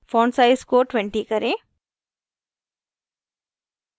font size को 20 करें